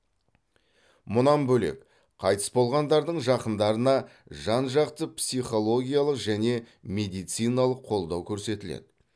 мұнан бөлек қайтыс болғандардың жақындарына жан жақты психологиялық және медициналық қолдау көрсетіледі